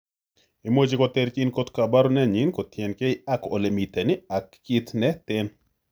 Imuche koterchin kot Koporunyein kotienke ak olemiten ak kit neten.